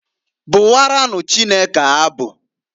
Bụwaranụ Chukwu abụ.